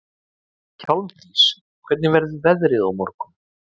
Hjálmdís, hvernig verður veðrið á morgun?